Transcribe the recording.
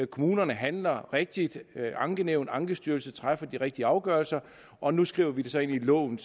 kommunerne handler rigtigt og ankenævn og ankestyrelser træffer de rigtige afgørelser og nu skriver vi det så ind i loven